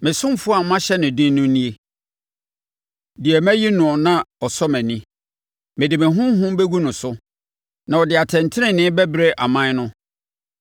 “Me ɔsomfoɔ a mahyɛ no den nie, deɛ mayi noɔ na ɔsɔ mʼani; mede me Honhom bɛgu no so na ɔde atɛntenenee bɛbrɛ aman no.